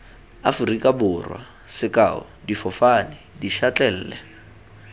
aforika borwa sekao difofane dišatlelle